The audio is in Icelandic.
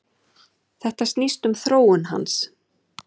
Þetta snýst um þróun hans.